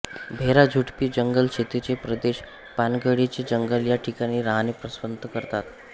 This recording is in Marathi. भेरा झुडपी जंगल शेतीचे प्रदेश पानगळीचे जंगल या ठिकाणी राहणे पसंत करतो